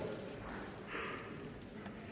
da